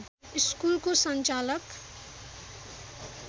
स्कुलको सञ्चालक